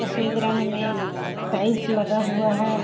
सफेद रंग में टाइल्स लगा हुआ है।